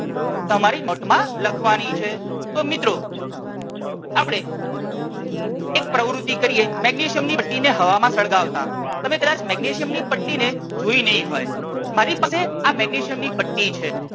તમારી નોટ માં લખવાની છે તો મિત્રો આપણે એક પ્રવૃતિ કરીએ મેગ્નેશિયમ ની પટ્ટી ને હવામાં સળગાવતા તમે કદાચ મેગ્નેશિયમ ની પટ્ટી ને જોઈ નહીં હોય મારી પાસે આ મેગ્નેશિયમ ની પટ્ટી છે